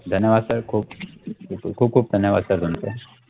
धन्यवाद sir खूप खूप खूप धन्यवाद sir तुमचे